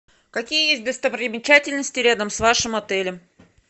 какие есть достопримечательности рядом с вашим отелем